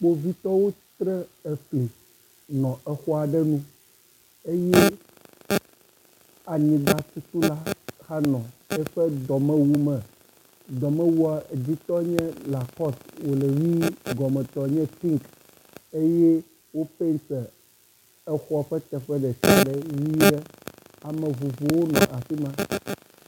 Kpovitɔwo tre efli nɔ exɔ aɖe nue eye anyigbatutula hã nɔ eƒe dɔmewu me. Dɔmewua dzitɔ nye lakɔs wo le ʋi gɔmetɔ nye pinki eye wopɛnti exɔ ƒe teƒe ɖeka ɖe ʋi ɖe ame vovowo nɔ afi ma.